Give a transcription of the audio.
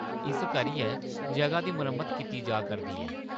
इस करियै जʼगा दी मरम्मत कीती जा करदी ऐ।